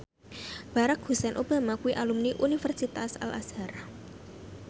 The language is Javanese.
Barack Hussein Obama kuwi alumni Universitas Al Azhar